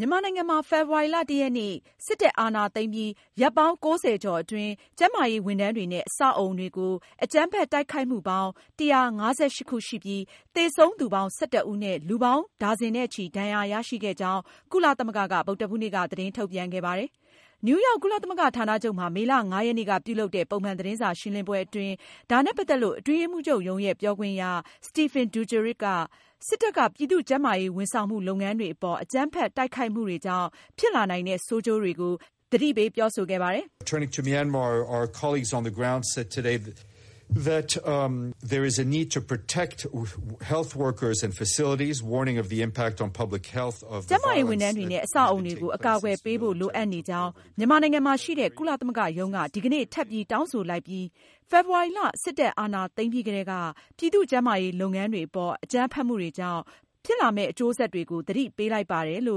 မြန်မာနိုင်ငံမှာ ဖေဖေါ်ဝါရီလ (၁)ရက်နေ့ စစ်တပ် အာဏာသိမ်းပြီး ရက်ပေါင်း (၉၀)ကျော်အတွင်း ကျန်းမာရေးဝန်ထမ်းတွေနဲ့ အဆောက်အအုံတွေကို အကြမ်းဖက် တိုက်ခိုက်မှုပေါင်း ၁၅၈ ခုရှိပြီး၊ သေဆုံးသူပေါင်း ၁၁ ဦးနဲ့ လူပေါင်း ဒါဇင်နဲ့ချီ ဒဏ်ရာရရှိခဲ့ကြောင်း ကုလသမဂ္ဂက ဗုဒ္ဓဟူးနေ့က သတင်းထုတ်ပြန်ခဲ့ပါတယ်။ နယူးရောက် ကုလသမဂ္ဂဌာနချုပ်မှာ မေလ (၅)ရက်နေ့က ပြုလုပ်တဲ့ ပုံမှန်သတင်းစာရှင်းလင်းပွဲအတွင်း ဒါနဲ့ ပတ်သက်လို့ အတွင်းရေးမှူးချုပ်ရုံးရဲ့ ပြောခွင့်ရ Stephane Dujarric က စစ်တပ်က ပြည်သူ့ကျန်းမာရေးဝန်ဆောင်မှုလုပ်ငန်းတွေအပေါ် အကြမ်းဖက်တိုက်ခိုက်မှုတွေကြောင့် ဖြစ်လာနိုင်တဲ့ ဆိုးကျိူးတွေကိုသတိပေးပြောဆိုခဲ့ပါတယ်။ ” ကျန်းမာရေးဝန်ထမ်းတွေနဲ့ အဆောက်အအုံတွေကို အကာအကွယ်ပေးဖို့ လိုအပ်နေကြောင်း မြန်မာနိုင်ငံမှာရှိတဲ့ ကုလသမဂ္ဂရုံးက ဒီကနေ့ ထပ်ပြီးတောင်းဆိုလိုက်ပြီး၊ ဖေဖေါ်ဝါရီလ စစ်တပ်အာဏာသိမ်းပြီးကတည်းက ပြည်သူ့ကျန်းမာရေးလုပ်ငန်းတွေအပေါ် အကြမ်းဖက်တွေကြောင့် ဖြစ်ပေါ်လာမယ့် အကျိုးဆက်တွေကို သတိပေးလိုက်ပါတယ်။”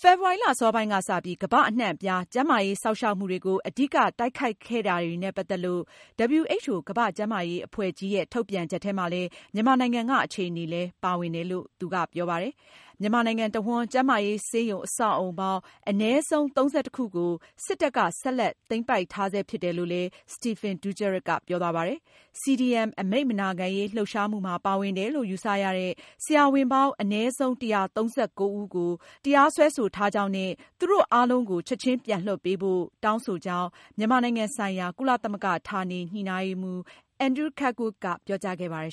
ဖေဖော်ဝါရီလအစောပိုင်း ကစပြီး ကမ္ဘာအနှံအပြား ကျန်းမာရေးစောင့်ရှောက်မှုတွေကို အဓိက တိုက်ခိုက်ခဲ့တဲ့လုပ်ရပ်တွေနဲ့ပတ်သက်လို့ WHO ကမ္ဘာ့ကျန်းမာရေးအဖွဲ့ရဲ့ ထုတ်ပြန်ချက်ထဲမှာလည်း မြန်မာနိုင်ငံက အခြေအနေလည်း ပါဝင်ပါတယ်။ မြန်မာနိုင်ငံတဝှမ်း ကျန်းမာရေးဆေးရုံအဆောက်အအုံပေါင်း အနည်းဆုံး ၃၁ ခုကို စစ်တပ်က ဆက်လက်သိမ်းပိုက်ထားဆဲဖြစ်တယ်လို့လည်း Stephane Dujarric ကပြောသွားပါတယ်။ CDM အမိန့်မနာခံရေးလှုပ်ရှားမှုမှာ ပါဝင်တယ်လို့ ယူဆရတဲ့ ဆရာဝန်ပေါင်း အနည်းဆုံး ၁၃၉ဦး တရားစွဲဆိုခံထားရကြောင်းနဲ့ သူတို့အားလုံးကို ချက်ချင်းပြန်လွှတ်ပေးဖို့ တောင်းဆိုကြောင်း မြန်မာနိုင်ငံဆိုင်ရာ ကုလသမဂ္ဂဌာနေ ညှိုနှိုင်းရေးမှုး Andrew Kirkwood ကပြောကြားခဲ့ပါတယ်